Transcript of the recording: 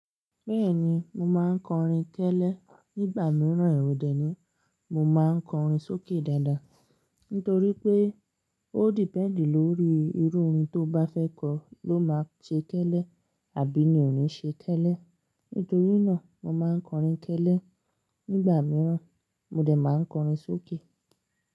Bẹ́ẹ̀ni, mo máa ń kọrin kélé nígbà mìíràn èrò dé, ní mo máa ń kọrin sókè dáadáa. Nítorí pé ó depend lórí irú orin to bá fẹ́ kọ ló máa ṣe kélé àbí ni ò ní ṣe kélé. Nítorí náà mo máa ń kọrin kélé nígbà mìíràn mo dẹ̀ máa ń kọrin sókè.